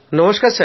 নমস্কার